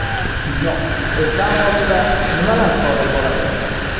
Kino: Ekran ortida nimalar sodir bo‘ladi?